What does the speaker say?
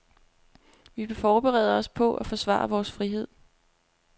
Vi forbereder os på at forsvare vores frihed.